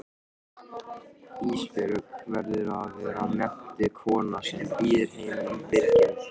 Ísbjörg verður að vera menntuð kona sem býður heiminum byrginn.